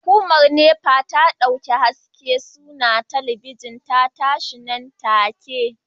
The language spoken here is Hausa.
Hukumar NEPA ta dauki haske sannan talabijin ta tashi nan take